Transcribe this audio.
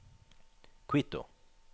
Quito